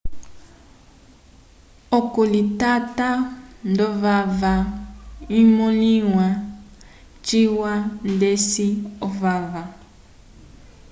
okalitata ndovava imõliwa ciwa ndeci ovava